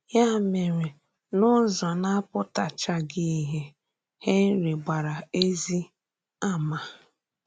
Ya mèrè, n’ụ̀zọ̀ na-apụ̀tàchaghị ìhè, Henry gbàrà ezì àmà.